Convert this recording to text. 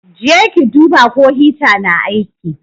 Je ki duba ko hita na aiki.